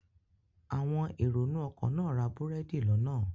Àwọn èrò inú ọkọ̀ náà ra búrẹ́dì lọ́nà